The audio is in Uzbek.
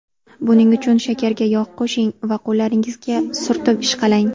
Buning uchun shakarga yog‘ qo‘shing va qo‘llaringizga surtib ishqalang.